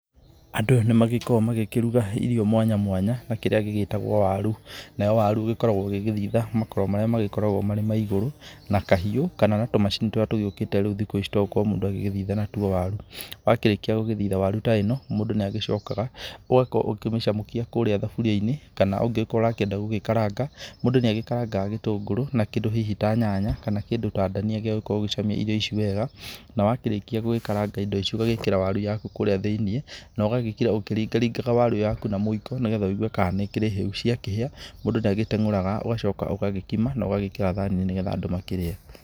Andũ nĩ magĩkoragwo magĩkĩruga irio mwanya mwanya na kĩrĩa gĩgĩtagwo waru, nayo waru ĩgĩkoragwo ũgĩgĩthitha makoro marĩa makoragwo marĩ maigũrũ na kahiũ kana na tũmacini tũria tũgĩũkĩte riu thikũ ici twagũkorwo mũndũ agĩgĩthitha natuo waru. Wakĩrĩkia gũgĩthitha waru ta ĩno mũndũ nĩ agĩcokaga ũgakorwo ũkĩmĩcamũkia kũrĩa thaburia-inĩ kana ũngĩgĩkorwo ũrakĩenda gũgĩkaranga. Mũndũ nĩ agĩkarangaga gĩtũngũrũ na kĩndũ hihi ta nyanya kana kĩndũ ta ndania gĩa gũkorwo ũgĩcamia irio ici wega. Na wakĩrĩkia gũgĩkaranga indo icio ũgagĩkĩra waru yaku kũrĩa thĩiniĩ, na ũgagĩkĩra ũkĩringa ringaga waru yaku na mũiko, nĩgetha wigue kana nĩ ikĩrĩ hĩu. Ciakĩhĩa mũndũ nĩ agĩteng'ũraga ũgacoka ũgakima na ũgagĩkĩra thani-inĩ, nĩgetha andũ makĩrĩe.